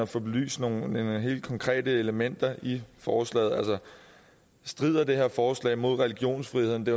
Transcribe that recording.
få belyst nogle helt konkrete elementer i forslaget altså strider det her forslag mod religionsfriheden det